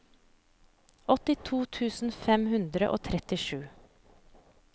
åttito tusen fem hundre og trettisju